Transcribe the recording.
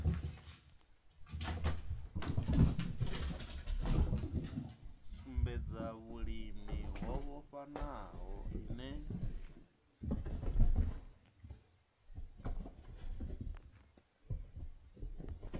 sumbedza vhulimi ho vhofhanaho ine